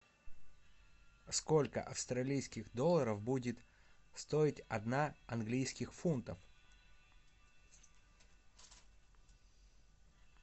сколько австралийских долларов будет стоить одна английских фунтов